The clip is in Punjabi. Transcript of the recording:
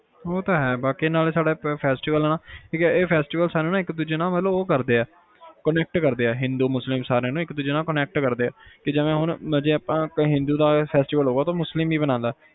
ਉਹ ਤਾ ਹੈ ਬਾਕੀ ਨਾਲੇ ਸਾਡੇ e ਹੈ festival ਹ ਨਾ ਇੱਕ ਦੂਜੇ ਨਾਲ ਆਪ ਨੂੰ ਉਹ ਕਰਦੇ ਆ connect ਕਰਦੇ ਹਿੰਦੂ, ਮੁਸਲਿਮ ਸਾਰਿਆਂ ਨੂੰ connect ਕਰਦੇ ਆ ਜਿਵੇ ਹੁਣ ਆਪਣੇ ਹਿੰਦੂਆਂ ਦਾ festival ਆ ਮੁਸਲਿਮ ਵੀ ਮਨਾਂਦਾ